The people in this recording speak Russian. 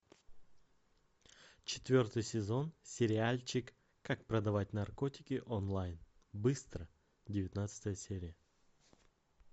четвертый сезон сериальчик как продавать наркотики онлайн быстро девятнадцатая серия